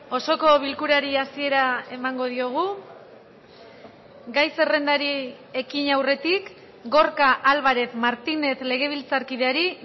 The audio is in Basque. osoko bilkurari hasiera emango diogu gai zerrendari ekin aurretik gorka álvarez martínez legebiltzarkideari